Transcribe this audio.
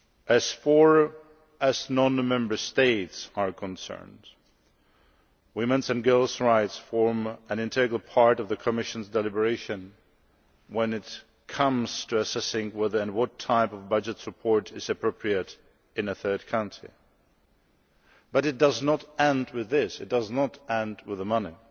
As far as non Member States are concerned, women's and girls' rights form an integral part of the Commission's deliberations when it comes to assessing what type of budget support is appropriate in a third country. But it does not end with this it does not end simply with money.